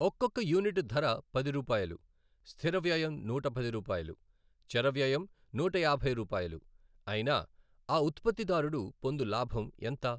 ఒక్కొక్క యూనిట్ ధర పది రూపాయలు, స్థిర వ్యయం నూట పది రూపాయలు, చర వ్యయం నూట యాభై రూపాయలు అయిన ఆ ఉత్పత్తి దారుడు పొందు లాభం ఎంత?